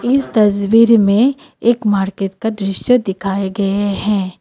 इस तज़्वीर में एक मार्केट का दृश्य दिखाए गए हैं।